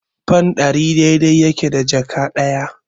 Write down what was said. Fan ɗari dai-dai yake da jaka ɗaya.